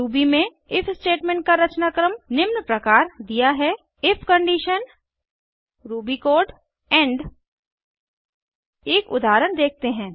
Ruby में if statement का रचनाक्रम निम्न प्रकार दिया है इफ कंडीशन rubyकोड इंड एक उदाहरण देखते हैं